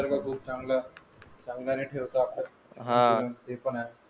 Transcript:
निसर्ग खूप चांगला नई ठेवतो आपण हान ते पण आहे